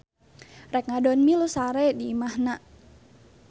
Rek ngadon milu sare di imahna.